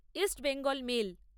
east Bengal mail